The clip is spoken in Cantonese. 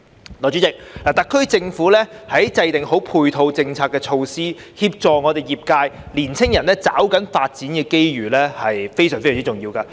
代理主席，特區政府妥善制訂配套政策措施，協助我們業界及年青人抓緊發展機遇是非常重要的。